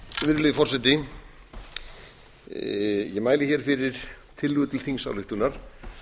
virðulegi forseti ég mæli hér fyrir tillögu til þingsályktunar